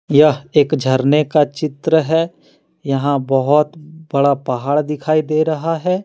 यह एक झरने का चित्र है यहां बहोत बड़ा पहाड़ दिखाई दे रहा है।